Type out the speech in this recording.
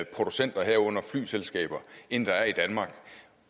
producenter herunder flyselskaber end der er i danmark